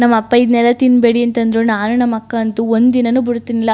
ನಮ್ಮ್ ಅಪ್ಪಾ ಇದ್ನೆಲ್ಲ ತಿನ್ಬೇಡಿ ಅಂತ ಅಂದ್ರು ನಾನು ನಮ್ಮ ಅಕ್ಕ ಅಂತು ಒಂದ ದಿನನು ಬಿಡ್ ತಿರ್ನಿಲ್ಲ.